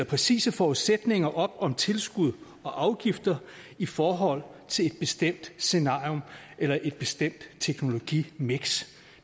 præcise forudsætninger om tilskud og afgifter i forhold til et bestemt scenarium eller et bestemt teknologimiks